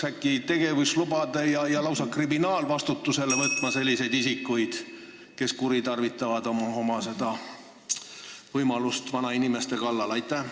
Äkki peaks tegevuslubade kallale minema ja lausa kriminaalvastutusele võtma selliseid isikuid, kes kuritarvitavad oma võimu vanainimeste kallal?